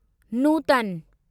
नूतन